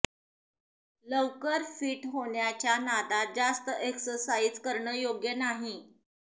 लवकर फिट होण्याच्या नादात जास्त एक्सरसाइज करणं योग्य नाही